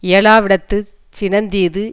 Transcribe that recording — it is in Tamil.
இயலாவிடத்துச் சினந்தீது